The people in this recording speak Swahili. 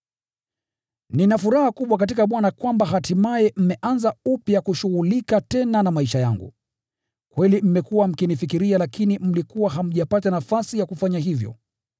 Nina furaha kubwa katika Bwana kwamba hatimaye mmeanza upya kushughulika tena na maisha yangu. Kweli mmekuwa mkinifikiria lakini mlikuwa hamjapata nafasi ya kufanya hivyo.